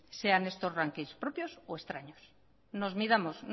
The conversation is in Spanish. sean estos rankings propios o extraños nos midamos